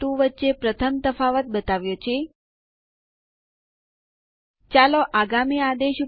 user account રદ કરવા માટે યુઝરડેલ આદેશ